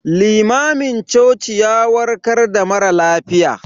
Limamin cocin ya warkar da mara lafiya.